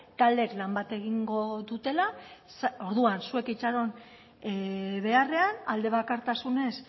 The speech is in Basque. taldeek lan bat egingo dutela orduan zuek itxaron beharrean alde bakartasunez